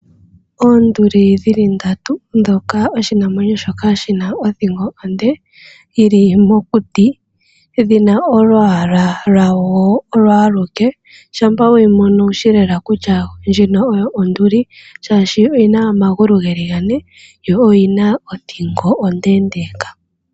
Oonduli dhili ndatu ndhoka oshinamwenyo shoka shina othingo onde yi li mokuti dhina olwaala lwawo olo aluke shampa we yimono owushi kutya ndjino onduli oshoka oyina omagulu ge li Gane yo oyina othingo ondendeeka